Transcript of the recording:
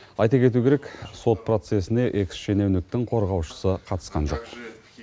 айта кету керек сот процесіне экс шенеуніктің қорғаушысы қатысқан жоқ